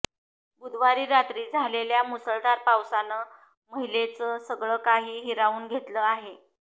बुधवारी रात्री झालेल्या मुसळधार पावसानं महिलेचं सगळं काही हिरावून घेतलं आहे